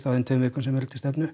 á þeim tveim vikum sem eru til stefnu